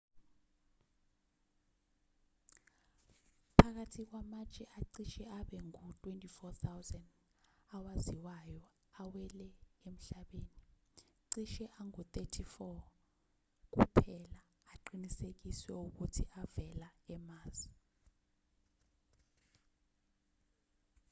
phakathi kwamatshe acishe abe ngu-24,000 awaziwayo awele emhlabeni cishe angu-34 kuphela aqinisekiswe ukuthi avela e-mars